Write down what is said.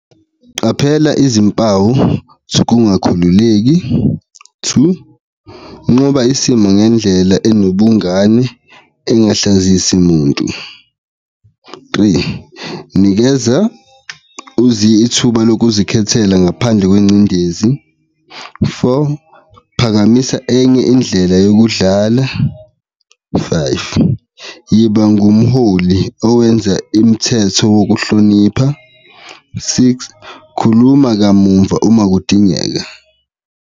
Qaphela izimpawu zokungakakhululeki, two, nqoba isimo ngendlela enobungane engahlekezisi muntu, three, nikeza ithuba lokuzikhethela ngaphandle kwengcindezi, four, phakamisa enye indlela yokudlala, five, yiba ngumholi owenza imithetho wokuhlonipha, six, khuluma kamumva uma kudingeka.